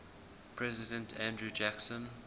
president andrew jackson